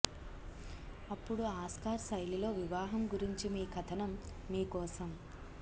అప్పుడు ఆస్కార్ శైలిలో వివాహం గురించి మీ కథనం మీ కోసం